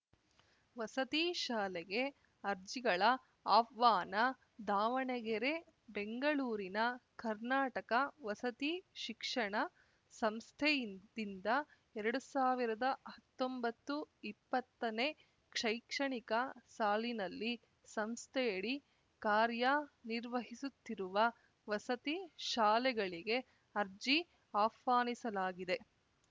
ವಸತಿ ಶಾಲೆಗೆ ಅರ್ಜಿಗಳ ಆಹ್ವಾನ ದಾವಣಗೆರೆ ಬೆಂಗಳೂರಿನ ಕರ್ನಾಟಕ ವಸತಿ ಶಿಕ್ಷಣ ಸಂಸ್ಥೆಯಿಂದ್ ದಿಂದ ಎರಡು ಸಾವಿರದ ಹತ್ತೊಂಬತ್ತುಇಪ್ಪತ್ತನೇ ಶೈಕ್ಷಣಿಕ ಸಾಲಿನಲ್ಲಿ ಸಂಸ್ಥೆಯಡಿ ಕಾರ್ಯ ನಿರ್ವಹಿಸುತ್ತಿರುವ ವಸತಿ ಶಾಲೆಗಳಿಗೆ ಅರ್ಜಿ ಆಹ್ವಾನಿಸಲಾಗಿದೆ